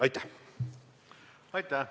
Aitäh!